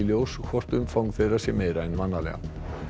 ljós hvort umfang þeirra sé meira en vanalega